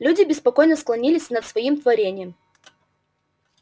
люди беспокойно склонились над своим творением